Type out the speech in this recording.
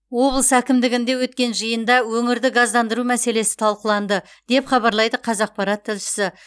облыс әкімдігінде өткен жиында өңірді газдандыру мәселесі талқыланды деп хабарлайды қазақпарат тілшісі